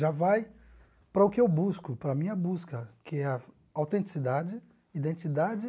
já vai para o que eu busco, para a minha busca, que é a autenticidade, identidade.